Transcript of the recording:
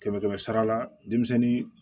Kɛmɛ kɛmɛ sara la denmisɛnnin